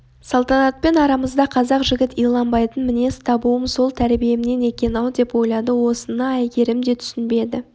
салтанатпен арамызда қазақ жігіт иланбайтын мінез табуым сол тәрбиемнен екен-ау деп ойлады осыны әйгерім де түсінбеді